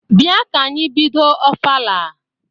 Bịa ka anyị bido ofala!